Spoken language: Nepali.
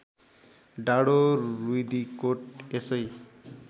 डाँडो रिव्दीकोट यसै